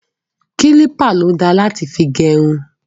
Kílípà ló da láti fi gẹrun.